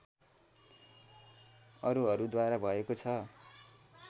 अरूहरूद्वारा भएको छ